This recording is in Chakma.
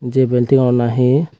je belting ow na he.